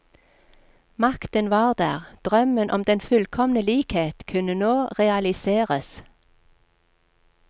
Makten var der, drømmen om den fullkomne likhet kunne nå realiseres.